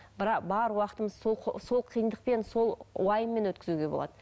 бар уақытымызды сол қиындықпен сол уайыммен өткізуге болады